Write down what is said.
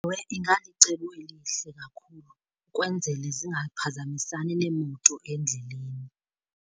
Ewe, ingalicebo elihle kakhulu, ukwenzele zingaphazamisani neemoto endleleni.